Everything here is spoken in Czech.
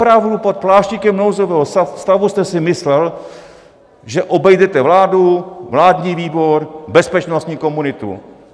Opravdu pod pláštíkem nouzového stavu jste si myslel, že obejdete vládu, vládní výbor, bezpečnostní komunitu?